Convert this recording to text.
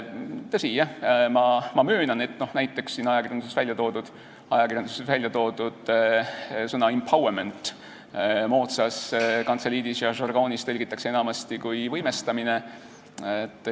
Tõsi, ma möönan, et näiteks ajakirjanduses väljatoodud sõna empowerment tõlgitakse moodsas kantseliidis ja žargoonis enamasti kui "võimestamine".